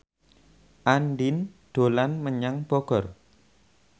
Andien dolan menyang Bogor